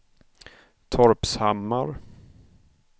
Torpshammar